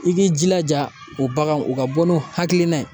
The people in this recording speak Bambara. I k'i jilaja o bagan o ka bɔ n'u hakilina ye